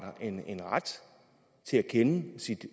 en ret til at kende sit